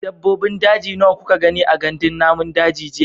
Dabbobin daji nawa kuka gani a gandun namun daji jiya?